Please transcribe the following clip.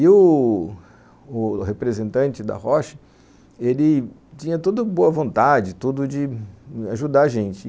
E o o representante da Rocha, ele tinha toda boa vontade, tudo de ajudar a gente.